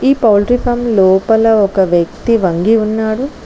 Poultry farm లోపల ఒక వ్యక్తి వంగి ఉన్నాడు.